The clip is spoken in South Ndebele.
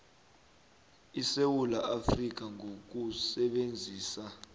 esewula afrika ngokusebenzisa